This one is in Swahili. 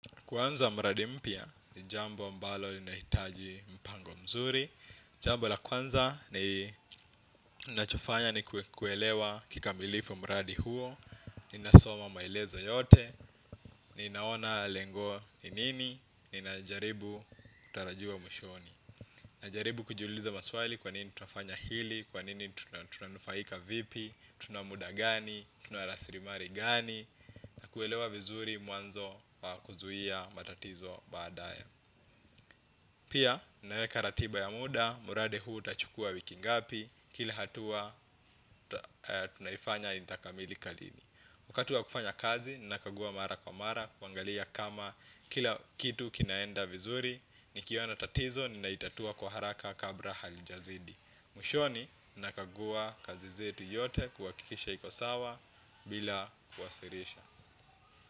Kuanza mradi mpya ni jambo ambalo linahitaji mpango mzuri. Jambo la kwanza ninachofanya ni kuelewa kikamilifu mradi huo. Ninasoma maelezo yote. Ni naona lengo ni nini. Ninajaribu tarajiwa mwishoni. Najaribu kujiuliza maswali kwa nini tunafanya hili. Kwa nini tunanufaika vipi. Tunamuda gani. Tuna rasirimari gani. Na kuelewa vizuri mwanzo kuzuhia matatizo baadae. Pia, ninaweka ratiba ya muda. Muradi huu utachukua wiki ngapi. Kila hatua, tunaifanya itakamilika lini wakati wa kufanya kazi, nina kagua mara kwa mara. Kuangalia kama kila kitu kinaenda vizuri. Nikiona tatizo, nina itatua kwa haraka kabra halijazidi. Mwishoni, ninakagua kazi zetu yote. Kuwakikisha iko sawa bila kuwasirisha.